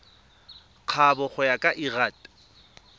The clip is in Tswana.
kabo go ya ka lrad